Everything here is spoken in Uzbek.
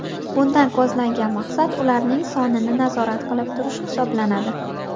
Bundan ko‘zlangan maqsad ularning sonini nazorat qilib turish hisoblanadi.